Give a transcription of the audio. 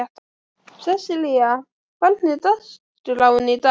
Sesselía, hvernig er dagskráin í dag?